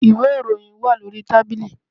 Ìwé ìròyìn wà lórí tábìlì